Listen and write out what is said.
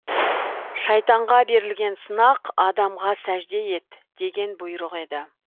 шайтанға берілген сынақ адамға сәжде ет деген бұйрық еді